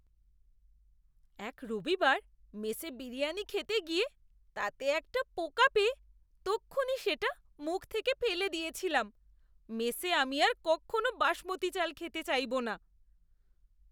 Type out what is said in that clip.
এক রবিবার মেসে বিরিয়ানি খেতে গিয়ে তাতে একটা পোকা পেয়ে তক্ষুণি সেটা মুখ থেকে ফেলে দিয়েছিলাম। মেসে আমি আর কক্ষনো বাসমতী চাল খেতে চাইবো না!